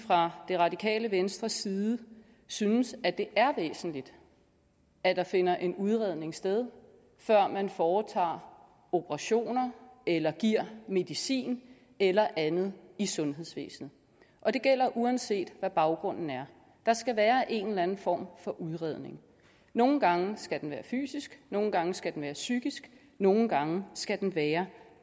fra det radikale venstres side synes at det er væsentligt at der finder en udredning sted før man foretager operationer eller giver medicin eller andet i sundhedsvæsenet og det gælder uanset hvad baggrunden er der skal være en eller anden form for udredning nogle gange skal den være fysisk nogle gange skal den være psykisk nogle gange skal den være